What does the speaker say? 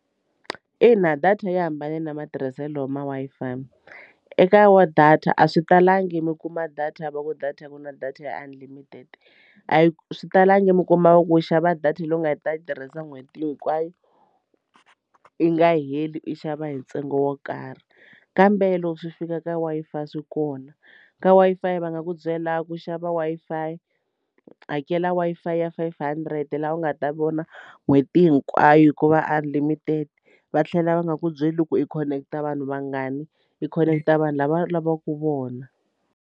Ina data yi hambanile na matirhiselo ma Wi-Fi eka wa data a swi talangi mi kuma data va ku data ku na data ya unlimited a yi swi talangi mi kumaku ku xava data leyi nga ta yi tirhisa n'hweti hinkwayo yi nga heli u xava hi ntsengo wo karhi kambe loko swi fika ka Wi-Fi swi kona. Ka Wi-Fi va nga ku byela ku xava Wi-Fi hakela Wi-Fi five hundred laha u nga ta vona n'hweti hinkwayo hikuva unlimited va tlhela va nge ku byeli loko i khoneketa vanhu vangani i khoneketa vanhu lava i lavaku vona.